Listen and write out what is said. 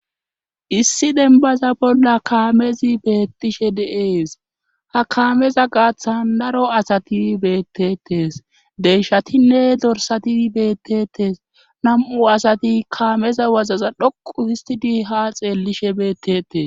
Issi denbaza bolla kaamezi beettishe deees ha kaameza gaaththan daro asati beettetes deyshatinne dorsati beettetes nam7u asati kaameza wazaza dhoqu histi di ha xeellishe beettetes